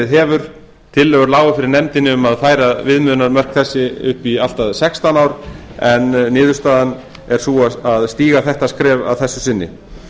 hefur tillögur lágu fyrir nefndinni um að færa viðmiðunarmörk þessi upp í allt að sextán ár en niðurstaðan er sú að stíga þetta skref að þessu sinni